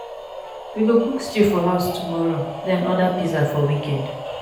we go cook stew for house tomorrow then order pizza for weekend.